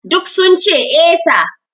Duk sun ce 'Eh sir'